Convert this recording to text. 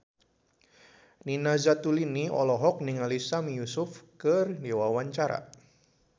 Nina Zatulini olohok ningali Sami Yusuf keur diwawancara